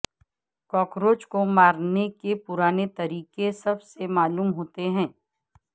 cockroach کو مارنے کے پرانے طریقے سب سے معلوم ہوتے ہیں